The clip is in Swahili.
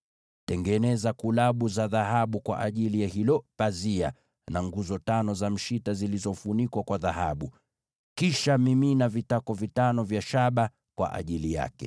Tengeneza kulabu za dhahabu kwa ajili ya hilo pazia, na nguzo tano za mshita zilizofunikwa kwa dhahabu. Kisha mimina vitako vitano vya shaba kwa ajili yake.